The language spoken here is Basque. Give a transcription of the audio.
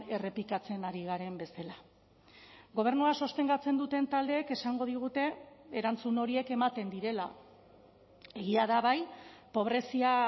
errepikatzen ari garen bezala gobernua sostengatzen duten taldeek esango digute erantzun horiek ematen direla egia da bai pobrezia